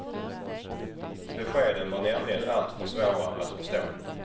Beskeden var nämligen alltför svåra att förstå.